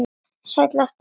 Slæ aftur aðeins fastar.